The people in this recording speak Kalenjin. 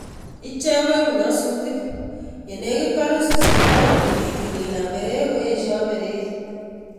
Ichek koibu nyasutik ye negit korus chi agot ngitil konam breki koeshoo brekit